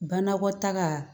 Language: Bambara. Banakɔtaga